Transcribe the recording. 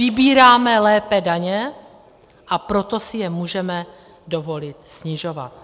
Vybíráme lépe daně, a proto si je můžeme dovolit snižovat.